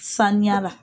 Sanuya la